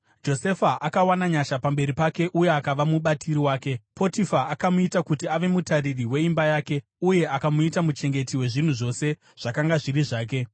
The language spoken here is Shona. Josefa akawana nyasha pamberi pake uye akava mubatiri wake. Potifa akamuita kuti ave mutariri weimba yake, uye akamuita muchengeti wezvinhu zvose zvakanga zviri zvake.